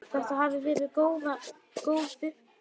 Þetta hafði verið góð vika.